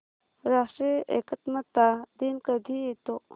राष्ट्रीय एकात्मता दिन कधी येतो